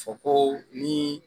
Fɔ ko nii